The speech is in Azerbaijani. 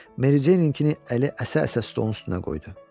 Mericeyninkini əli əsə-əsə stolun üstünə qoydu.